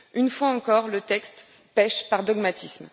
Une fois encore, le texte pèche par dogmatisme.